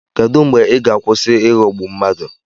Kedụ mgbe ị ga-akwụsị ịghọgbu mmadụ?